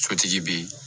Sotigi bi